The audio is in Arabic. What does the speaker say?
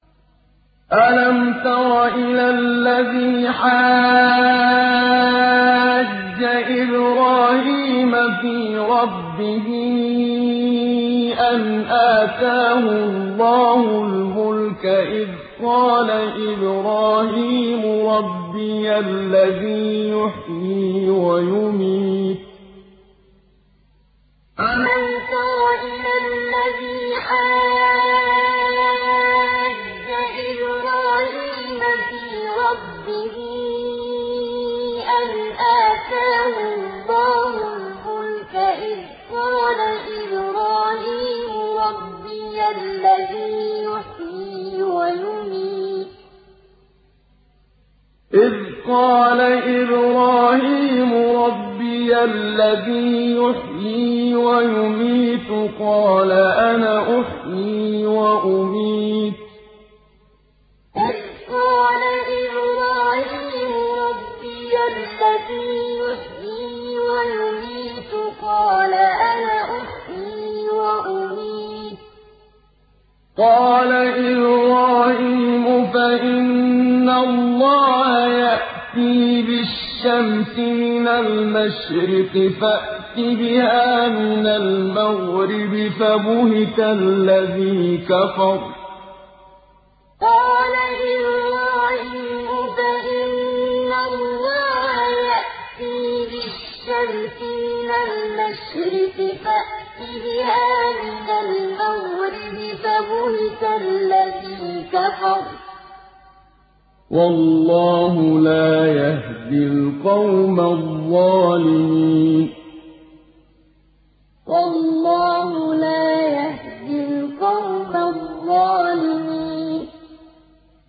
أَلَمْ تَرَ إِلَى الَّذِي حَاجَّ إِبْرَاهِيمَ فِي رَبِّهِ أَنْ آتَاهُ اللَّهُ الْمُلْكَ إِذْ قَالَ إِبْرَاهِيمُ رَبِّيَ الَّذِي يُحْيِي وَيُمِيتُ قَالَ أَنَا أُحْيِي وَأُمِيتُ ۖ قَالَ إِبْرَاهِيمُ فَإِنَّ اللَّهَ يَأْتِي بِالشَّمْسِ مِنَ الْمَشْرِقِ فَأْتِ بِهَا مِنَ الْمَغْرِبِ فَبُهِتَ الَّذِي كَفَرَ ۗ وَاللَّهُ لَا يَهْدِي الْقَوْمَ الظَّالِمِينَ أَلَمْ تَرَ إِلَى الَّذِي حَاجَّ إِبْرَاهِيمَ فِي رَبِّهِ أَنْ آتَاهُ اللَّهُ الْمُلْكَ إِذْ قَالَ إِبْرَاهِيمُ رَبِّيَ الَّذِي يُحْيِي وَيُمِيتُ قَالَ أَنَا أُحْيِي وَأُمِيتُ ۖ قَالَ إِبْرَاهِيمُ فَإِنَّ اللَّهَ يَأْتِي بِالشَّمْسِ مِنَ الْمَشْرِقِ فَأْتِ بِهَا مِنَ الْمَغْرِبِ فَبُهِتَ الَّذِي كَفَرَ ۗ وَاللَّهُ لَا يَهْدِي الْقَوْمَ الظَّالِمِينَ